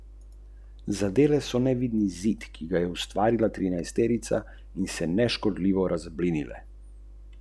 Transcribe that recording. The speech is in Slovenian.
Dve vojni in nekaj držav pozneje je grad Tuštanj še vedno v rokah družine Pirnat, Lukovih potomcev.